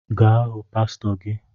Ga hụ pasịtọ gi